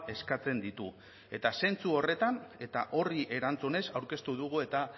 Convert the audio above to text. eskatzen ditu eta zentzu horretan eta horri erantzunez aurkeztu dugu eta